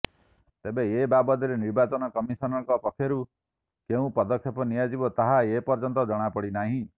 ତେବେ ଏ ବାବଦରେ ନିର୍ବାଚନ କମିଶନଙ୍କ ପକ୍ଷରୁ କେଉଁ ପଦକ୍ଷେପ ନିଆଯିବ ତାହା ଏ ପର୍ଯ୍ୟନ୍ତ ଜଣା ପଡ଼ିନାହିଁ